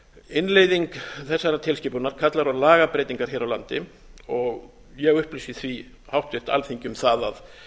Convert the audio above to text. innleiðing þessarar tilskipunar kallar á lagabreytingar hér á landi og ég upplýsi því háttvirtu alþingi um það að